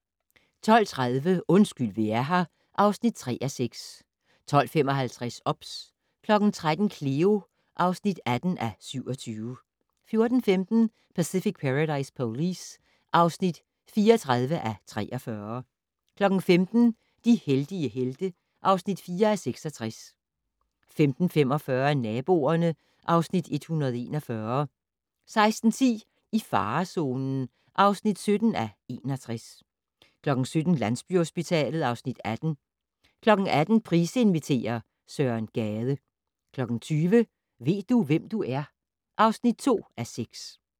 12:30: Undskyld vi er her (3:6) 12:55: OBS 13:00: Cleo (18:27) 14:15: Pacific Paradise Police (34:43) 15:00: De heldige helte (4:66) 15:45: Naboerne (Afs. 141) 16:10: I farezonen (17:61) 17:00: Landsbyhospitalet (Afs. 18) 18:00: Price inviterer - Søren Gade 20:00: Ved du, hvem du er? (2:6)